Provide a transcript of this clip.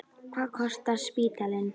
Hvað kostar spítalinn?